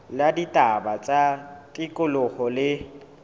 la ditaba tsa tikoloho le